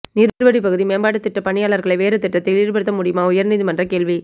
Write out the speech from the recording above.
நீர்வடிப்பகுதி மேம்பாட்டு திட்ட பணியாளர்களை வேறு திட்டத்தில் ஈடுபடுத்த முடியுமா உயர்நீதிமன்றம் கேள்வி